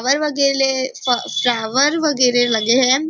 वर वगेरे फ फ्लावर वगेरे लगे है।